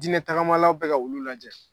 Diinɛ tagamalaw bɛ ka olu lajɛ.